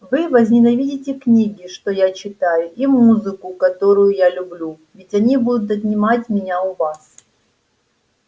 вы возненавидите книги что я читаю и музыку которую я люблю ведь они будут отнимать меня у вас